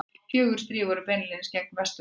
Fjögur stríð voru beinlínis gegn Vesturlöndum.